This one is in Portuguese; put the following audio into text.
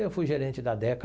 Eu fui gerente da DECA.